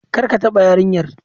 Kar ka taba yarinyar!